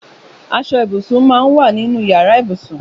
Aṣọ ibúsín má n wà ninú iyàrá ibúsún